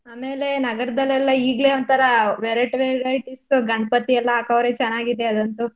ಆಮೇಲೆ ನಗರದಲೆಲ್ಲೆ ಈಗ್ಲೇ ಒಂತರಾ variety varieties ಗಣಪತಿ ಎಲ್ಲ ಹಾಕವ್ರೆ ಚೆನಾಗಿದೆ ಅದಂತ್ತು.